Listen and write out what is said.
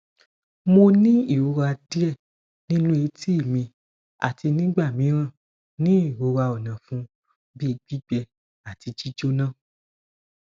mo ni irora die ninu eti mi ati nigbamiran ni irora onafun bi gbigbe ati jijona